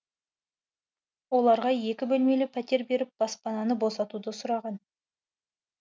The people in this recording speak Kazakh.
оларға екі бөлмелі пәтер беріп баспананы босатуды сұраған